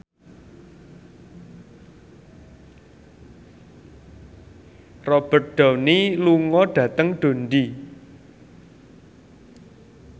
Robert Downey lunga dhateng Dundee